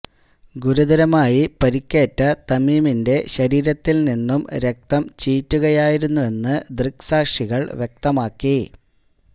ഗുരുതരമായി പരിക്കേറ്റ തമീമിന്റെ ശരീരത്തില് നിന്നും രക്തം ചീറ്റുകയായിരുെന്നന്ന് ദൃക്സാക്ഷികള് വ്യക്തമാക്കി